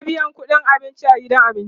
ana biyan ƙudin abinci a gidan abinci